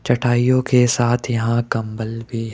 चटाइयों के साथ यहां कंबल भी--